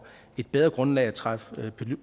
et bedre grundlag at træffe